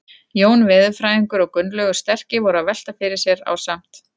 Jón veðurfræðingur og Gunnlaugur sterki voru að velta fyrir sér ásamt